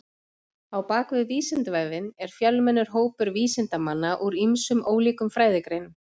Á bak við Vísindavefinn er fjölmennur hópur vísindamanna úr ýmsum ólíkum fræðigreinum.